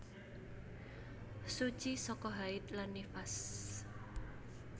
Suci saka haid lan nifas